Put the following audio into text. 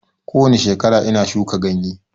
Kowani shekara ina shuka ganye